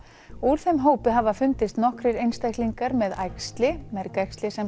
úr þeim hópi hafa fundist nokkrir einstaklingar með æxli með æxli